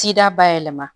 Sida bayɛlɛma